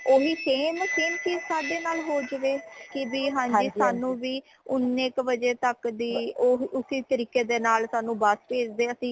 ਉਹ ਹੀ same same ਚੀਜ਼ ਸਾੜੇ ਨਾਲ ਹੋ ਜਵੇ ਕਿ ਭੀ ਹਾਂਜੀ ਸਾਨੂ ਵੀ ਉਨੇ ਕ ਵਜੇ ਤਕ ਦੀ ਉਸੀ ਤਰੀਕੇ ਦੇ ਨਾਲ ਸਾਨੂੰ ਬੱਸ ਭੇਜ ਦੇਣ